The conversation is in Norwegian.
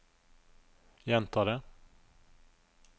gjenta det